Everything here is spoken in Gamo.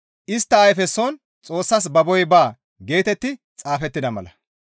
Istta ayfeson Xoossas yashshateththi baa» geetetti xaafettida mala.